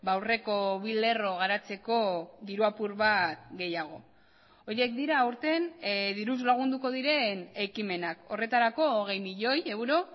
aurreko bi lerro garatzeko diru apur bat gehiago horiek dira aurten diruz lagunduko diren ekimenak horretarako hogei milioi euro